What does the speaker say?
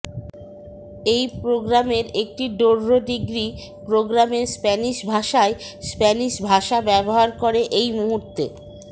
এই প্রোগ্রামের একটি ডোর্রো ডিগ্রী প্রোগ্রামের স্প্যানিশ ভাষায় স্প্যানিশ ভাষা ব্যবহার করে এই মুহূর্তে